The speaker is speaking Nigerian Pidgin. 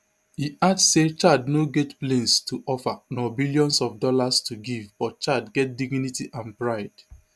e add say chad no get planes to offer nor billions of dollars to give but chad get dignity and pride